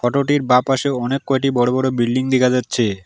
Photo -টির বাঁ পাশে অনেক কয়টি বড় বড় বিল্ডিং দিখা যাচ্ছে।